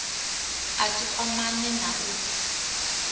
a si kwamane na u